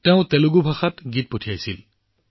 তেওঁ তেলেগুত পঞ্জীয়ন কৰিছিল